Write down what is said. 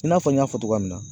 I n'a fɔ n y'a fɔ cogoya min na